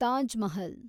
Taj Mahal